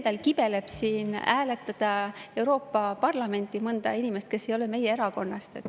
Ma ise kibelen siin hääletama Euroopa Parlamenti mõnda inimest, kes ei ole meie erakonnast.